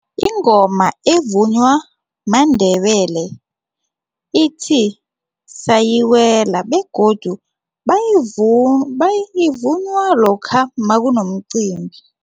Ingoma evunywa maNdebele ithi sayiwela begodu ivunywa lokha makunomcimbi.